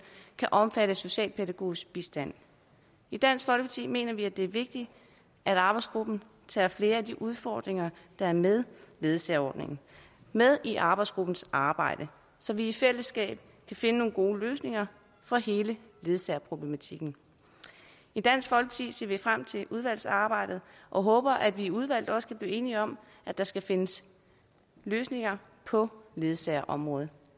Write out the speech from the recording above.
kan omfatte socialpædagogisk bistand i dansk folkeparti mener vi det er vigtigt at arbejdsgruppen tager flere af de udfordringer der er med ledsageordningen med i arbejdsgruppens arbejde så vi i fællesskab kan finde nogle gode løsninger for hele ledsagerproblematikken i dansk folkeparti ser vi frem til udvalgsarbejdet og håber at vi i udvalget også kan blive enige om at der skal findes løsninger på ledsagerområdet